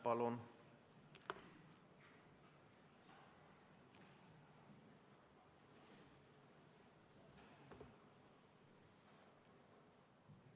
Palun!